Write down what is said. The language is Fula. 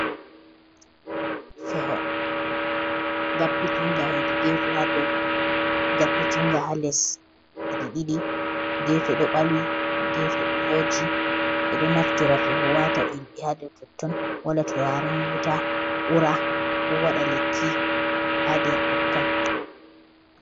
Feho ngappiti nga ha Les ngappiti nga ha dow gefe ɗo balwi gefe ɗo voji ɓeɗo naftira feho wata ilɓe hado totton wala turaren wuta ura ko wada lekki ha der totton.